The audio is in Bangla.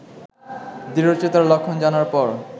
দৃঢ়চেতার লক্ষণ জানার পর